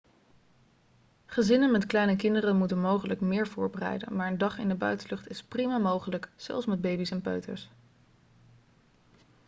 gezinnen met kleine kinderen moeten mogelijk meer voorbereiden maar een dag in de buitenlucht is prima mogelijk zelfs met baby's en peuters